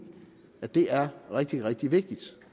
at det er rigtig rigtig vigtigt